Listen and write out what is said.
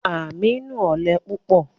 Aminu ọlẹ pupọ